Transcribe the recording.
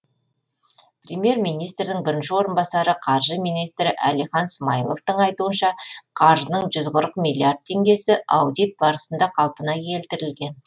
премьер министрдің бірінші орынбасары қаржы министрі әлихан смайыловтың айтуынша қаржының жүз қырық миллиард теңгесі аудит барысында қалпына келтірілген